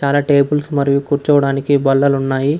చాల టేబుల్స్ మరియు కూర్చోవడానికి బల్లలున్నాయి.